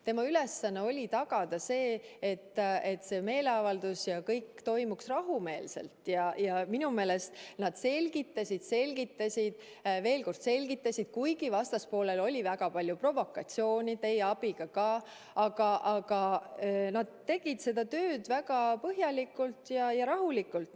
Nende ülesanne oli tagada, et see meeleavaldus toimuks rahumeelselt, ja minu meelest nad selgitasid, selgitasid ja veel kord selgitasid, kuigi vastaspoolel oli väga palju provokatsiooni, ka teie abiga, aga nad tegid seda tööd väga põhjalikult ja rahulikult.